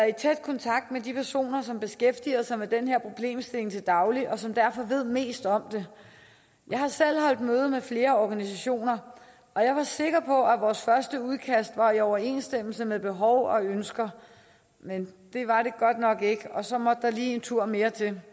i tæt kontakt med de personer som beskæftiger sig med den her problemstilling til daglig og som derfor ved mest om det jeg har selv holdt møde med flere organisationer og jeg var sikker på at vores første udkast var i overensstemmelse med behov og ønsker men det var det godt nok ikke og så måtte der lige en tur mere til